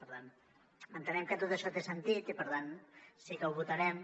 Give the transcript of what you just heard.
per tant entenem que tot això té sentit i per tant sí que ho votarem